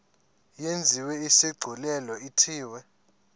yenziwe isigculelo ithiwe